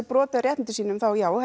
brjóta á réttindum sínum þá já